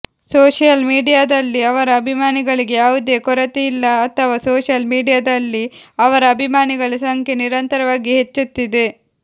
social ಮೀಡಿಯಾದಲ್ಲಿ ಅವರ ಅಭಿಮಾನಿಗಳಿಗೆ ಯಾವುದೇ ಕೊರತೆಯಿಲ್ಲ ಅಥವಾ ಸೋಷಿಯಲ್ ಮೀಡಿಯಾದಲ್ಲಿ ಅವರ ಅಭಿಮಾನಿಗಳ ಸಂಖ್ಯೆ ನಿರಂತರವಾಗಿ ಹೆಚ್ಚುತ್ತಿದೆ